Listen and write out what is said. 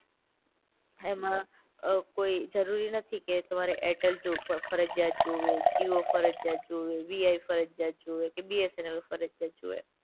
એમાં કોઈ જરૂરી નથી કે તમારે એરટેલ જો ફરજીયાત જોવે, જીઓ ફરજીયાત જોવે, વીઆઈ ફરજીયાત જોવે, કે બીએસએનએલ ફરજીયાત જોવે.